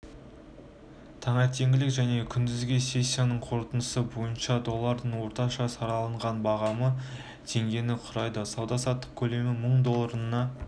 таңертеңгілік және күндізгі сессиясының қорытындысы бойынша долларының орташа сараланған бағамы теңгені құрайды сауда-саттық көлемі мың долларына